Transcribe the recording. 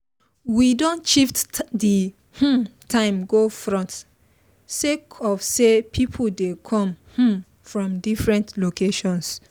we don shift the um time go front sake of say people dey come um from different locations